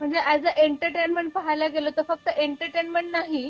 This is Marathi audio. म्हणजे अॅज अ एंटरटेनमेंट पाहायला गेल तर फक्त एंटरटेनमेंट नाही